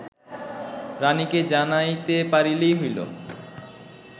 রাণীকে জানাইতে পারিলেই হইল